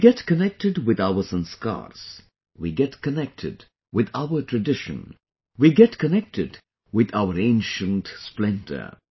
We get connected with our Sanskars, we get connected with our tradition, we get connected with our ancient splendor